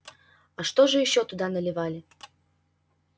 а что же ещё туда наливали